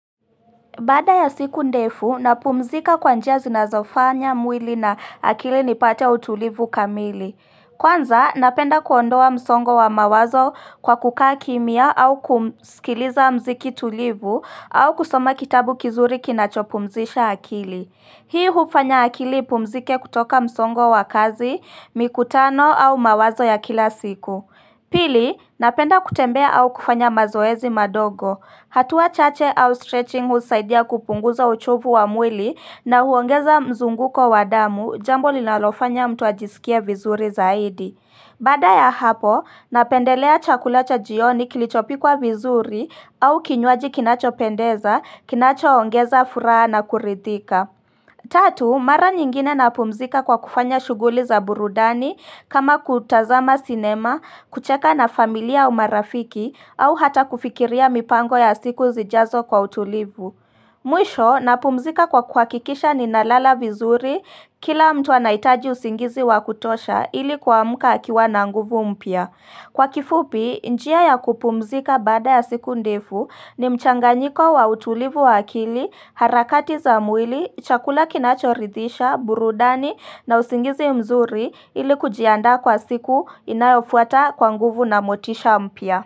Baada ya siku ndefu, napumzika kwanjia zinazofanya mwili na akili nipate utulivu kamili. Kwanza, napenda kuondoa msongo wa mawazo kwa kukaa kimya au kumskiliza mziki tulivu au kusoma kitabu kizuri kinachopumzisha akili. Hii hufanya akili pumzike kutoka msongo wa kazi, mikutano au mawazo ya kila siku. Pili, napenda kutembea au kufanya mazoezi madogo, hatuwa chache au stretching husaidia kupunguza uchovu wa mwili na huongeza mzunguko wa damu jambo linalofanya mtuajisikie vizuri zaidi. Baada ya hapo, napendelea chakulacha jioni kilichopi kwa vizuri au kinywaji kinacho pendeza, kinacho ongeza furaha na kurithika. Tatu, mara nyingine napumzika kwa kufanya shughuli za burudani kama kutazama cinema, kucheka na familia umarafiki au hata kufikiria mipango ya siku zijazo kwa utulivu. Mwisho, napumzika kwa kwakikisha ni nalala vizuri kila mtu anaitaji usingizi wakutosha ili kuamuka akiwa nanguvu mpia. Kwa kifupi, njia ya kupumzika baada ya siku ndefu ni mchanganyiko wa utulivu waa kili, harakati za mwili, chakula kinachorithisha, burudani na usingizi mzuri ili kujianda kwa siku inayofuata kwanguvu na motisha mpya.